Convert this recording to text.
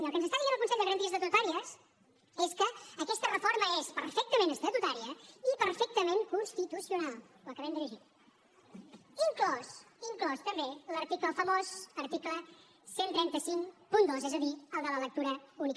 i el que ens està dient el consell de garanties estatutàries és que aquesta reforma és perfectament estatutària i perfectament constitucional ho acabem de llegir inclòs inclòs també l’article famós l’article tretze cinquanta dos és a dir el de la lectura única